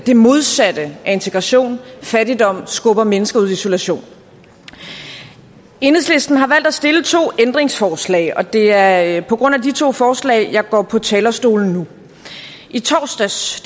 det modsatte af integration fattigdom skubber mennesker ud i isolation enhedslisten har valgt at stille to ændringsforslag og det er på grund af de to forslag jeg går på talerstolen nu i torsdags